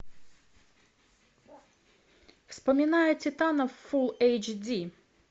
вспоминая титанов фулл эйч ди